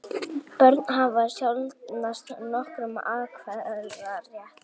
Börn hafa sjaldnast nokkurn atkvæðarétt.